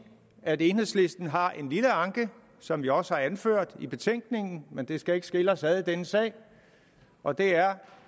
at enhedslisten har en lille anke som vi også har anført i betænkningen men det skal ikke skille os ad i denne sag og det er